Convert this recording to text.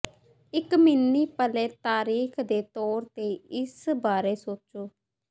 ਇੱਕ mini play ਤਾਰੀਖ ਦੇ ਤੌਰ ਤੇ ਇਸ ਬਾਰੇ ਸੋਚੋ